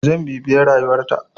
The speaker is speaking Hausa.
Zan bibiye rayuwar ta.